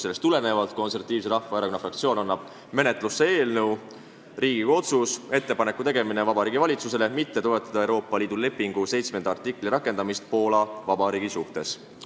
Seetõttu annab Eesti Konservatiivse Rahvaerakonna fraktsioon menetlusse eelnõu "Riigikogu otsus "Ettepaneku tegemine Vabariigi Valitsusele mitte toetada Euroopa Liidu lepingu 7. artikli rakendamist Poola Vabariigi suhtes"".